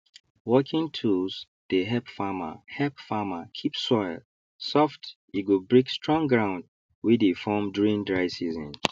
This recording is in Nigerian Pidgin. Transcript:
working tools dey help farmer help farmer keep soil soft e go break strong ground wey dey form during dry season